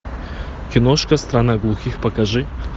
киношка страна глухих покажи